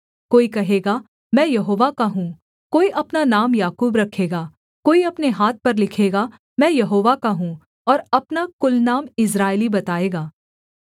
कोई कहेगा मैं यहोवा का हूँ कोई अपना नाम याकूब रखेगा कोई अपने हाथ पर लिखेगा मैं यहोवा का हूँ और अपना कुलनाम इस्राएली बताएगा